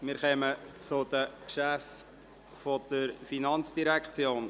Wir kommen zu den Geschäften der Finanzdirektion.